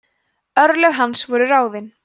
örlög hans voru ráðin